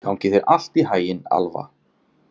Gangi þér allt í haginn, Alfa.